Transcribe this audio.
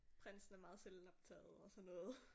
Prinsen er meget selvoptaget og sådan noget